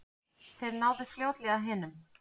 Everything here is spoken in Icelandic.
Þeir náðu fljótlega hinum.